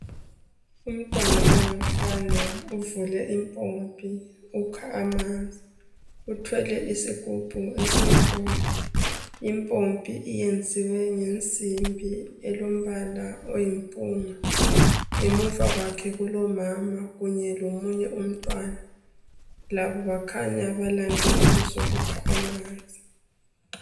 Umntwana ongumfana uvule impompi ukha amanzi uthwele isigubhu esimhlophe. Impompi iyenziwe ngensimbi elombala oyimpunga, ngemuva kwakhe kulomama kanye lomunye umntwana. Labo bakhanya balande ukuzokukha amanzi.